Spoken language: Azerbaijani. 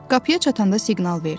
Qapıya çatanda siqnal verdi.